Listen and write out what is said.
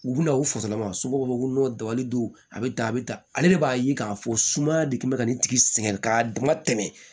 U bina u fasala ma somɔgɔw b'a fɔ ko dabali don a bɛ tan a bɛ tan ale de b'a ye k'a fɔ sumaya de kun bɛ ka nin tigi sɛgɛn ka dama tɛmɛ